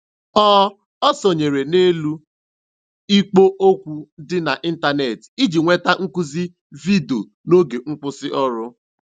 Ọ Ọ sonyeere n'elu ikpo okwu dị n'ịntanetị iji nweta nkuzi vidiyo n'oge nkwụsị ọrụ.